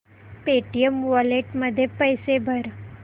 Paytm wallet मध्ये पैसे भर